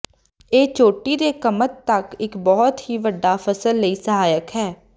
ਇਹ ਚੋਟੀ ਦੇ ਕਮਤ ਤੱਕ ਇੱਕ ਬਹੁਤ ਹੀ ਵੱਡਾ ਫਸਲ ਲਈ ਸਹਾਇਕ ਹੈ